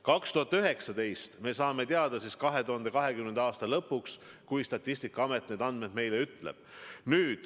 2019. aasta andmed selguvad 2020. aasta lõpuks, kui Statistikaamet need meile ütleb.